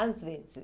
Às vezes.